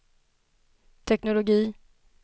teknologi